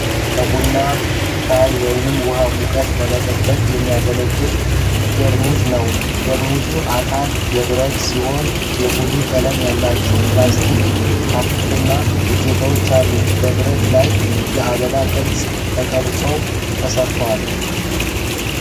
ከቡና፣ ሻይ ወይም ውሃ ሙቀት ለመጠበቅ የሚያገለግል ቴርሞስ ( ነው። የቴርሞሱ አካል የብረት ሲሆን፣ የቡኒ ቀለም ያላቸው ፕላስቲክ ካፕና እጀታዎች አሉት። በብረቱ ላይ የአበባ ቅርጾች ተቀርጸው ተሰርተዋል።